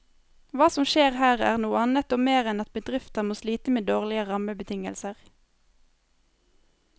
Hva som skjer her, er noe annet og mer enn at bedrifter må slite med dårlige rammebetingelser.